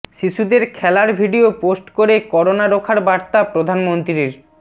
শিশুদের খেলার video post করে করোনা রোখার বার্তা প্রধানমন্ত্রীর